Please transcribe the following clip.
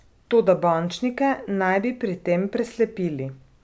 Toda bančnike naj bi pri tem preslepili.